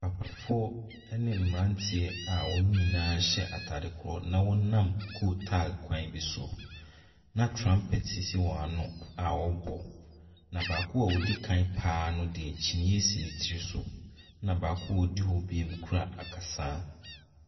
Papafoɔ ne mmeranteɛ a wɔn nyinaa hyɛ atade korɔ na wɔnam kootal kwan bi so, na trumpet sisi wɔn ano a wɔrebɔ, na baako a ɔdi kan pa ara no deɛ, kyiniiɛ si ne tiri so, ɛnna baako a ɔdi hɔ bio kura akasaa.